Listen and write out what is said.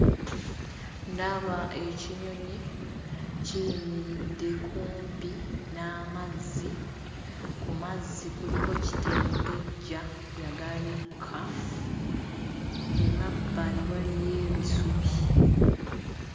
Ndaba ekinyonyi kiyimiridde kumpi n'amazzi, ku mazzi kuliko kitengejja eyagabikka, emabbali waliyo ebisubi.